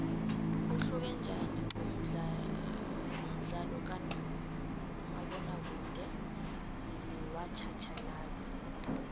uhluke njaniumdlalokamabona kude nowatjhatjhalazi